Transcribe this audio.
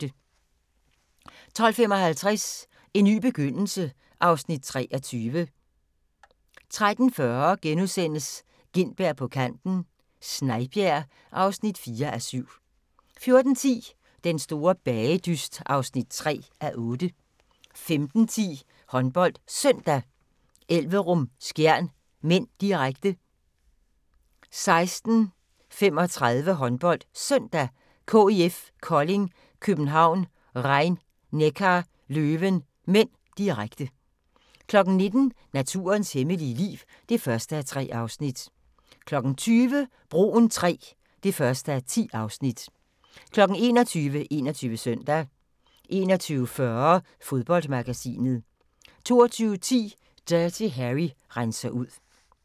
12:55: En ny begyndelse (Afs. 23) 13:40: Gintberg på kanten - Snejbjerg (4:7)* 14:10: Den store bagedyst (3:8) 15:10: HåndboldSøndag: Elverum-Skjern (m), direkte 16:35: HåndboldSøndag: KIF Kolding København - Rhein-Neckar Löwen (m), direkte 19:00: Naturens hemmelige liv (1:3) 20:00: Broen III (1:10) 21:00: 21 Søndag 21:40: Fodboldmagasinet 22:10: Dirty Harry renser ud